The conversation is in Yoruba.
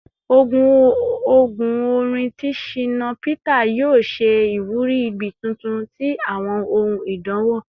Ogún orin ti Shina Peter yoo ṣe iwuri igbi tuntun ti awọn ohun idanwo